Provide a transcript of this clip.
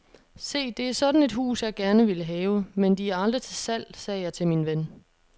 Se, det er sådan et hus, jeg gerne ville have, men de er aldrig til salg, sagde jeg til min ven.